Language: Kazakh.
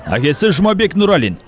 әкесі жұмабек нұралин